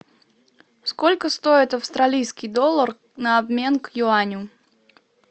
сколько стоит австралийский доллар на обмен к юаню